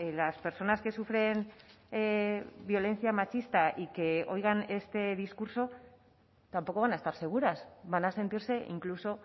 las personas que sufren violencia machista y que oigan este discurso tampoco van a estar seguras van a sentirse incluso